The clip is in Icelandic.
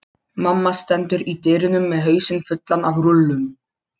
Mamma stendur í dyrunum með hausinn fullan af rúllum.